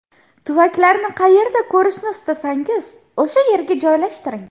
Tuvaklarni qayerda ko‘rishni istasangiz, o‘sha yerga joylashtiring!